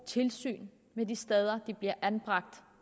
tilsyn med de steder de bliver anbragt